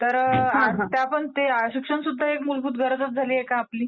तर शिक्षण सुद्धा एक मूलभूत गरज झालेली आहे का आपली?